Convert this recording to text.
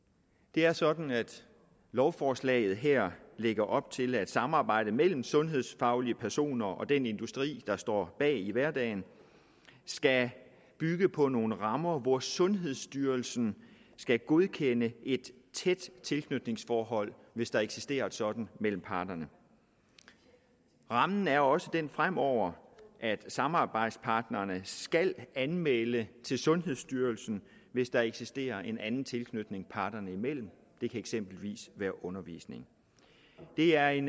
det er sådan at lovforslaget her lægger op til at samarbejdet mellem sundhedsfaglige personer og den industri der står bag i hverdagen skal bygge på nogle rammer hvor sundhedsstyrelsen skal godkende et tæt tilknytningsforhold hvis der eksisterer et sådant mellem parterne rammen er også den fremover at samarbejdspartnerne skal anmelde til sundhedsstyrelsen hvis der eksisterer en anden tilknytning parterne imellem det kan eksempelvis være undervisning det er en